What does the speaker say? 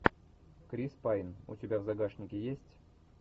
крис пайн у тебя в загашнике есть